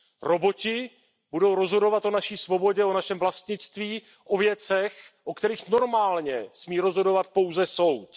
Roboti budou rozhodovat o naší svobodě, o našem vlastnictví, o věcech, o kterých normálně smí rozhodovat pouze soud.